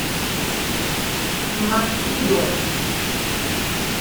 мацудо